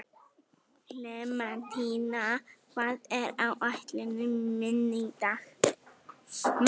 Klementína, hvað er á áætluninni minni í dag?